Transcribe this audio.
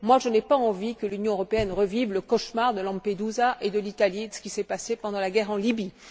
Je n'ai pas envie que l'Union européenne revive le cauchemar de Lampedusa et de l'Italie, et de ce qui s'est passé pendant la guerre en Libye.